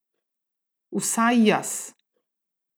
Vsaj jaz!